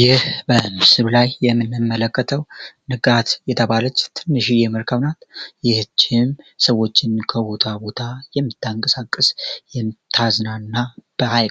ይህ በምስል ላይ የምንመለከተው ንቃት የተባለች ትንሽዬ መርከብ ናት ይህች ሰዎችን ከቦታ ቦታ የሚታንቀሳቀስ የምታዝናና ሀይ